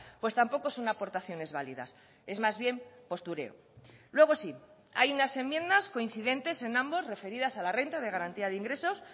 pues tampoco son aportaciones válidas es más bien postureo luego sí hay unas enmiendas coincidentes en ambos referidas a la renta de garantía de ingresos